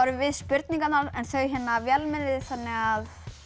við spurningarnar en þau vélmennið þannig að